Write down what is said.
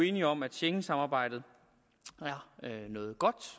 enige om at schengensamarbejdet er noget godt